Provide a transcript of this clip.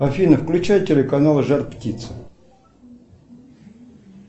афина включай телеканал жар птица